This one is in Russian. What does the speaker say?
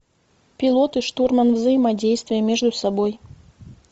пилот и штурман взаимодействие между собой